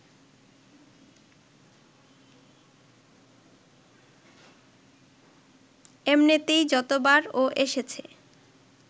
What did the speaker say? এমনিতেই যতবার ও এসেছে